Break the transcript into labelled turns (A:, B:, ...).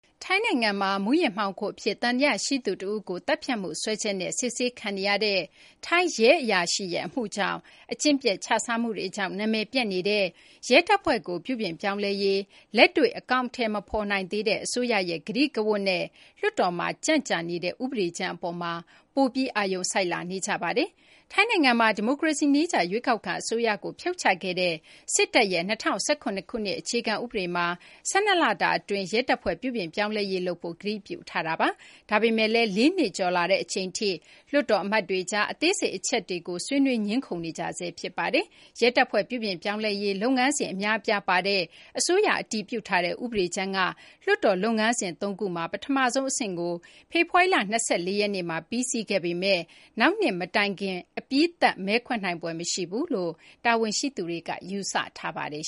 A: ထိုင်းနိုင်ငံမှာ မူးယစ်မှောင်ခိုအဖြစ် သံသယရှိသူတဦးကို သတ်ဖြတ်မှု စွဲချက်နဲ့ စစ်ဆေးခံနေရတဲ့ ထိုင်းရဲအရာရှိရဲ့ အမှုကြောင့် အကျင့်ပျက် ခြစားမှုတွေကြောင့် နာမည်ပျက်နေတဲ့ ရဲတပ်ဖွဲ့ကို ပြုပြင်ပြောင်းလဲရေး လက်တွေ့ အကောင်အထည် မဖော်နိုင်သေးတဲ့ အစိုးရရဲ့ ကတိကဝတ်နဲ့ လွှတ်တော်မှာ ကြန့်ကြာနေတဲ့ ဥပဒေကြမ်းအပေါ်မှာ ပိုပြီး အာရုံစိုက်လာနေကြပါတယ်။ ထိုင်းနိုင်ငံမှာ ဒီမိုကရေစီနည်းကျ ရွေးကောက်ခံ အစိုးရကို ဖြုတ်ချခဲ့တဲ့ စစ်တပ်ရဲ့ ၂၀၁၇ ခုနှစ် အခြေခံဥပဒေမှာ ၁၂ လတာအတွင်း ရဲတပ်ဖွဲ့ ပြုပြင်ပြောင်းလဲရေး လုပ်ဖို့ ကတိပြုထားတာပါ။ ဒါပေမယ့်လည်း ၄ နှစ်ကျော်လာတဲ့ အချိန်ထိ လွှတ်တော်အမတ်တွေကြား အသေးစိတ် အချက်တွေကို ဆွေးနွေး ငြင်းခုံနေကြဆဲ ဖြစ်ပါတယ်။ ရဲတပ်ဖွဲ့ ပြုပြင်ပြောင်းလဲရေး လုပ်ငန်းစဉ် အများအပြားပါတဲ့ အစိုးရ အတည်ပြုထားတဲ့ ဥပဒေကြမ်းက လွှတ်တော်လုပ်ငန်းစဉ် ၃ ခုမှာ ပထမဆုံးအဆင့်ကို ဖေဖော်ဝါရီလ ၂၄ ရက်နေ့မှာ ပြီးစီးခဲ့ပေမယ့်လည်း နောက်နှစ်မတိုင်ခင် အပြီးသတ် မဲခွဲနိုင်ဖွယ် မရှိဘူးလို့ တာဝန်ရှိသူတွေက ယူဆ
B: ထားပါတယ်